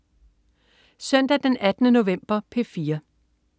Søndag den 18. november - P4: